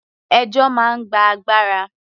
Ẹjọ́ máa ń gba agbára.